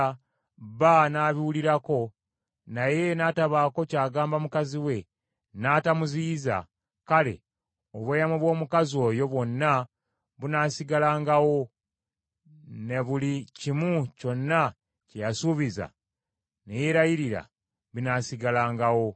bba n’abiwulirako, naye n’atabaako ky’agamba mukazi we, n’atamuziyiza; kale, obweyamo bw’omukazi oyo bwonna bunaasigalangawo, ne buli kimu kyonna kye yasuubiza ne yeerayirira, binaasigalangawo.